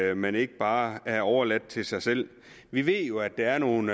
at man ikke bare er overladt til sig selv vi ved jo at der er nogle